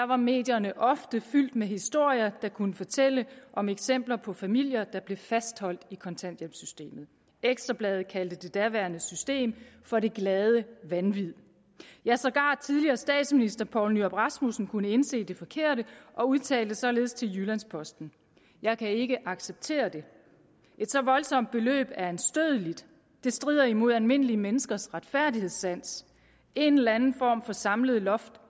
var medierne ofte fyldt med historier der kunne fortælle om eksempler på familier der blev fastholdt i kontanthjælpssystemet ekstra bladet kaldte det daværende system for det glade vanvid ja sågar tidligere statsminister poul nyrup rasmussen kunne indse det forkerte og udtalte således til jyllands posten jeg kan ikke acceptere det et så voldsomt beløb er anstødeligt det strider imod almindelige menneskers retfærdighedssans en eller anden form for samlet loft